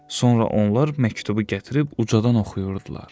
Sonra onlar məktubu gətirib ucadan oxuyurdular.